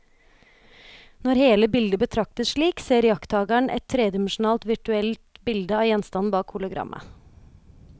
Når hele bildet betraktes slik, ser iakttakeren et tredimensjonalt virtuelt bilde av gjenstanden bak hologrammet.